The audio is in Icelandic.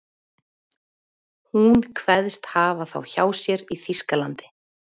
Hún kveðst hafa þá hjá sér í Þýskalandi.